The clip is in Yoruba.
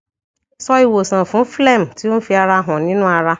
so iwosan fún phlegm ti o n fi ara han ninu ara